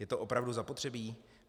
Je to opravdu zapotřebí?